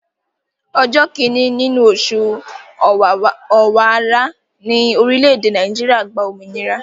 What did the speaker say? Ọjọ́ kíni nínú oṣù Ọ̀wàrà ni orile-ede Naijiria gba òmìnira.